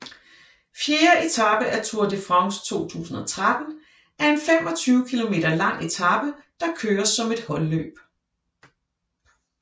Fjerde etape af Tour de France 2013 er en 25 km lang etape der køres som et holdløb